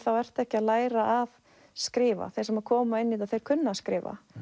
þá ertu ekki að læra að skrifa þeir sem koma inn í þetta kunna að skrifa